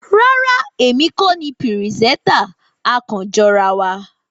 Rárá, èmi kò ní pírìsẹtà, a kan jọ ra wá